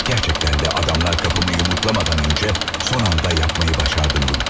Gerçekten de adamlar kapımı yumruklamadan önce son anda yapmayı başardım bunu.